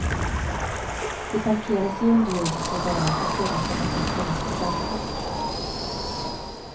De parkeras i underjordiska garage och sedan tar man hissen upp till gatan.